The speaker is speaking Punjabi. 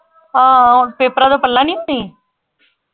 ਹਾਂ ਹੁਣ ਪੇਪਰਾਂ ਤੋਂ ਪਹਿਲਾਂ ਨਹੀਂ ਫ਼੍ਰੀ?